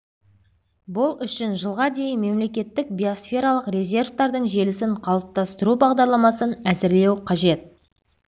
бұл үшін жылға дейін мемлекеттік биосфералық резерваттардың желісін қалыптастыру бағдарламасын әзірлеу қажет